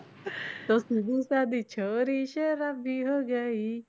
ਤੋ ਸੀਧੀ ਸਾਧੀ ਛੋਰੀ ਸ਼ਰਾਬੀ ਹੋ ਗਈ,